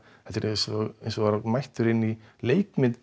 þetta var eins og að vera mættur í leikmynd